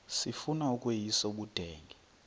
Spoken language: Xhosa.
sifuna ukweyis ubudenge